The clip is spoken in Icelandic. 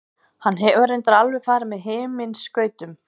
Hann hefur reyndar alveg farið með himinskautum.